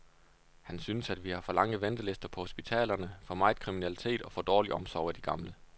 Han synes, at vi har for lange ventelister på hospitalerne, for meget kriminalitet og for dårlig omsorg af de gamle.